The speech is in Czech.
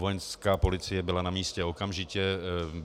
Vojenská policie byla na místě okamžitě.